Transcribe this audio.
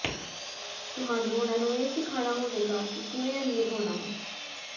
ਤੁਹਾਨੂੰ ਉਨ੍ਹਾਂ ਨੂੰ ਇਹ ਸਿਖਾਉਣਾ ਹੋਵੇਗਾ ਕਿ ਕਿਵੇਂ ਅਮੀਰ ਹੋਣਾ ਹੈ